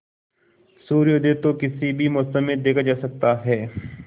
सूर्योदय तो किसी भी मौसम में देखा जा सकता है